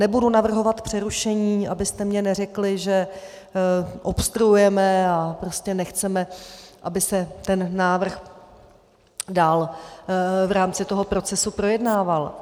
Nebudu navrhovat přerušení, abyste mi neřekli, že obstruujeme a prostě nechceme, aby se ten návrh dál v rámci toho procesu projednával.